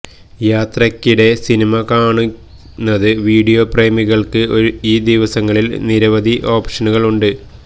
യാത്രയ്ക്കിടെ സിനിമ കാണുന്നതിന് വീഡിയോ പ്രേമികൾക്ക് ഈ ദിവസങ്ങളിൽ നിരവധി ഓപ്ഷനുകൾ ഉണ്ട്